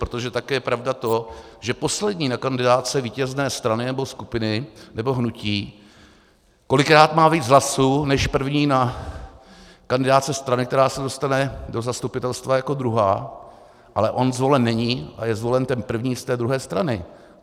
Protože také je pravda to, že poslední na kandidátce vítězné strany nebo skupiny nebo hnutí kolikrát má víc hlasů než první na kandidátce strany, která se dostane do zastupitelstva jako druhá, ale on zvolen není a je zvolen ten první z té druhé strany.